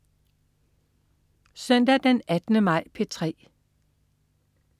Søndag den 18. maj - P3: